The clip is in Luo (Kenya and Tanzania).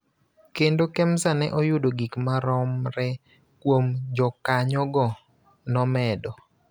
kendo Kemsa ne oyudo gik maromre kuom jokanyogo, nomedo.